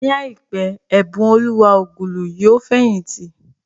Ní àìpé, Ẹ̀bùnoluwa Ogulu yóò fẹ̀yìntì